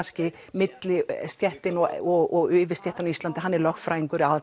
millistéttin og yfirstéttin hann er lögfræðingur